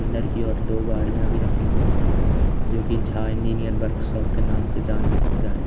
अंदर की और दो गाड़ियां भी रखी हुई हैं जो कि झा इंजीनियरिंग वर्कशॉप के नाम से जाना जाती--